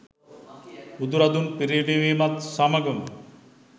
බුදු රදුන් පිරිනිවීමත් සමගම